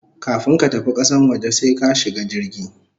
Kafun ka tafi kasan waje sai ka shiga jirgi